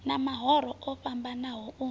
ha mahoro o fhambanaho u